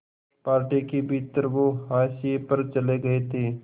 party के भीतर वो हाशिए पर चले गए थे